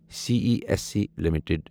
C E S C limited